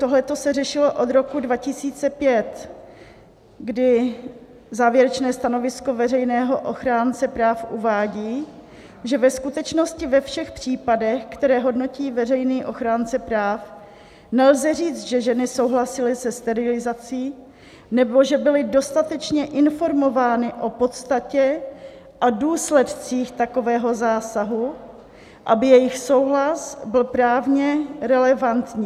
Tohle se řešilo od roku 2005, kdy závěrečné stanovisko veřejného ochránce práv uvádí, že ve skutečnosti ve všech případech, které hodnotí veřejný ochránce práv, nelze říct, že ženy souhlasily se sterilizací nebo že byly dostatečně informovány o podstatě a důsledcích takového zásahu, aby jejich souhlas byl právně relevantní.